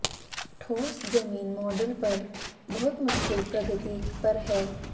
ठोस जमीन मॉडल पर बहुत मुश्किल प्रगति पर है